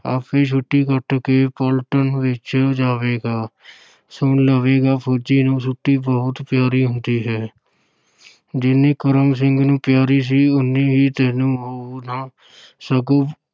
ਆਪੇ ਛੁੱਟੀ ਕੱਟ ਕੇ ਪਲਟਨ ਵਿੱਚ ਜਾਵੇਗਾ ਸੁਣ ਲਵੇਗਾ, ਫ਼ੌਜੀ ਨੂੰ ਛੁੱਟੀ ਬਹੁਤ ਪਿਆਰੀ ਹੁੰਦੀ ਹੈ ਜਿੰਨੀ ਕਰਮ ਸਿੰਘ ਨੂੰ ਪਿਆਰੀ ਸੀ, ਓਨੀ ਹੀ ਤੈਨੂੰ ਹੋਊ ਨਾ ਸਗੋਂ